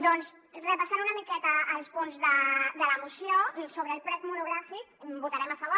doncs repassant una miqueta els punts de la moció sobre el ple monogràfic hi votarem a favor